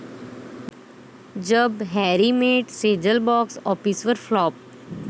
जब Harry met Sejal box ऑफिसवर flop